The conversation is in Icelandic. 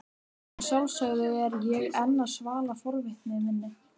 Að sjálfsögðu er ég enn að svala forvitni minni.